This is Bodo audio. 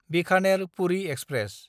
बिखानेर–पुरि एक्सप्रेस